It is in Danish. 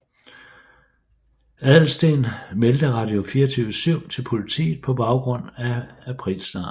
Adelsteen meldte Radio24syv til politiet på baggrund af aprilsnaren